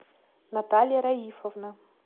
наталья раифовна